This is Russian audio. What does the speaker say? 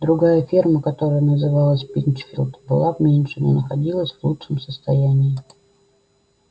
другая ферма которая называлась пинчфилд была меньше но находилась в лучшем состоянии